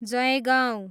Jaigaon